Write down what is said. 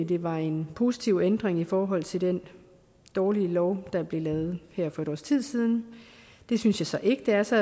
det var en positiv ændring i forhold til den dårlige lov der blev lavet her for et års tid siden det synes jeg så ikke det er så